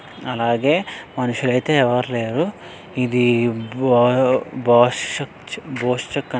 అలాగే మనుషులు అయితే ఎవరూ లేరు ఇది బా బసచ్చ్ బోష్యక --